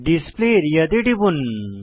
display area তে টিপুন